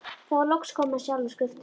Þá er loks komið að sjálfum skriftunum.